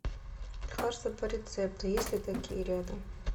лекарства по рецепту есть ли такие рядом